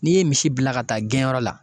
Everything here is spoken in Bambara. N'i ye misi bila ka taa gɛnyɔrɔ la